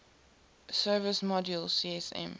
service module csm